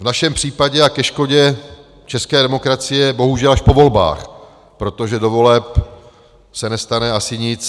V našem případě a ke škodě české demokracie bohužel až po volbách, protože do voleb se nestane asi nic.